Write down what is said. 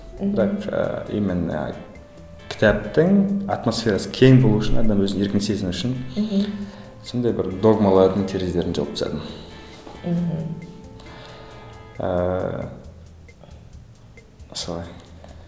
и так ыыы именно кітаптың атмосферасы кең болу үшін әрі еркін сезіну үшін мхм сондай бір догмалардың терезелерін жауып тастадым мхм ііі солай